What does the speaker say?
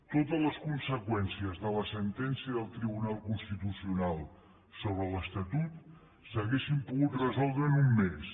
totes les conseqüències de la sentència del tribunal constitucional sobre l’estatut s’haurien pogut resoldre en un mes